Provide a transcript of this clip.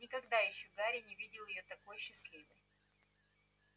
никогда ещё гарри не видел её такой счастливой